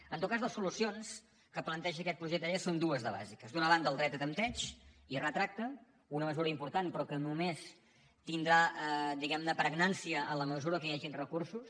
en tot cas les solucions que planteja aquest projecte de llei són dues de bàsiques d’una banda el dret de tempteig i retracte una mesura important però que només tindrà diguem ne pregnància en la mesura que hi hagi recursos